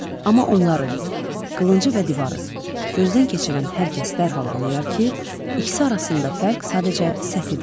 Amma onları, qılıncı və divarı, gözdən keçirən hər kəs dərhal anlayar ki, ikisi arasında fərq sadəcə səthidir.